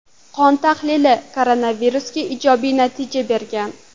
Qon tahlili koronavirusga ijobiy natijani bergan.